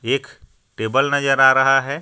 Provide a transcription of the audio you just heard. एक टेबल नजर आ रहा है.